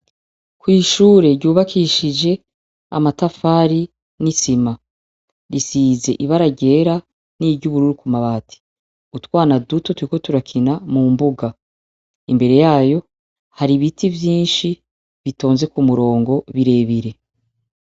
Kw'ishure ryubakishije amatafari n'isima, risize ibara ryera n'iryubururu ku mabati. Utwana duto tuko turakina mu mbuga. Imbere yayo hari ibiti vyinshi bitonze ku murongo bire bire.